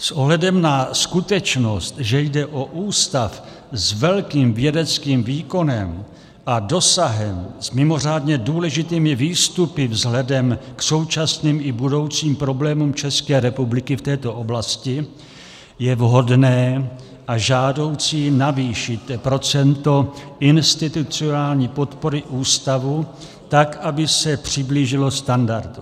S ohledem na skutečnost, že jde o ústav s velkým vědeckým výkonem a dosahem, s mimořádně důležitými výstupy vzhledem k současným i budoucím problémům České republiky v této oblasti, je vhodné a žádoucí navýšit procento institucionální podpory ústavu tak, aby se přiblížilo standardu.